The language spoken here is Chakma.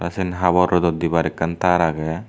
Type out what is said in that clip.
ah seyan habor rodot debar akkan ter agey.